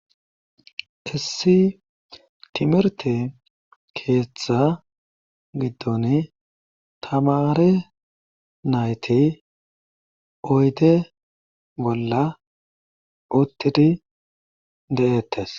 issi timirte keeththa giddon tamare nayti oyde bolla uttidi de7ettes